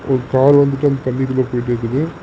ஒரு கார் வந்துட்டு அந்த தண்ணிக்குள்ள போயிட்டுருக்குது.